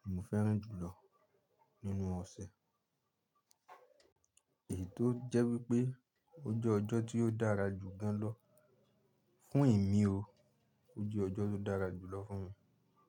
ni mo fẹ́ràn jùlọ nínú ọ̀sẹ̀. Èyí tó jẹ́ wípé ó jẹ́ ọjọ́ tí ó dára jù gan lọ fún emí o, ó jẹ́ ọjọ́ tó dára jùlọ fún mi.